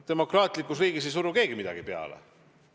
Demokraatlikus riigis ei suru keegi midagi peale.